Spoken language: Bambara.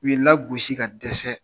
U y'i lagosi ka dɛsɛ.